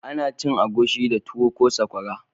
Ana cin miyan agushi da tuwo ko sakwara